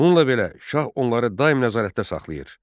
Bununla belə, Şah onları daim nəzarətdə saxlayır.